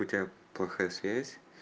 у тебя плохая связь